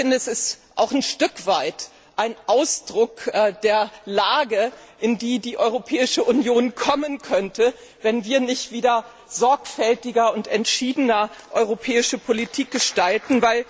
Es ist auch ein Stück weit ein Ausdruck der Lage, in die die Europäische Union kommen könnte, wenn wir nicht wieder sorgfältiger und entschiedener europäische Politik gestalten.